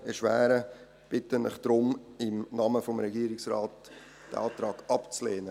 Deshalb bitte ich Sie im Namen des Regierungsrates, diesen Antrag abzulehnen.